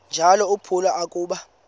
njalo uphalo akuba